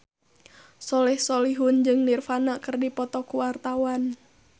Soleh Solihun jeung Nirvana keur dipoto ku wartawan